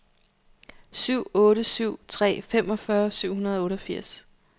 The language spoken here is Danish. syv otte syv tre femogfyrre syv hundrede og otteogfirs